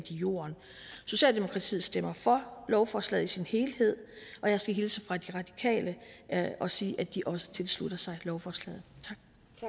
jorden socialdemokratiet stemmer for lovforslaget i sin helhed og jeg skal hilse fra de radikale og sige at de også tilslutter sig lovforslaget tak